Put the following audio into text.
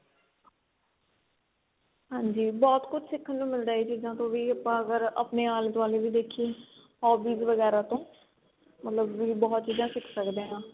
ਹਾਂਜੀ ਬਹੁਤ ਕੁੱਝ ਸਿਖਣ ਮਿਲਦਾ ਇਹ ਚੀਜ਼ਾਂ ਤੋਂ ਵੀ ਆਪਾਂ ਅਗਰ ਆਪਣੇ ਆਲੇ ਦੁਆਲੇ ਦੇਖੀਏ hobbies ਵਗੈਰਾ ਤੋਂ ਮਤਲਬ ਵੀ ਬਹੁਤ ਚੀਜ਼ਾਂ ਸਿਖ ਸਕਦੇ ਆ